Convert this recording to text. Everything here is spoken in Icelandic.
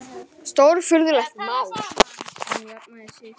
Stórfurðulegt mál.